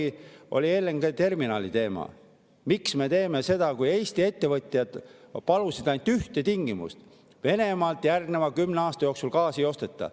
Kui oli LNG-terminali teema, miks me teeme seda, kui Eesti ettevõtjad palusid ainult ühte tingimust: Venemaalt järgneva 10 aasta jooksul gaasi ei osteta.